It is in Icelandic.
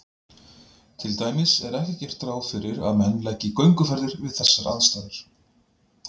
Til dæmis er ekki gert ráð fyrir að menn leggi í gönguferðir við þessar aðstæður.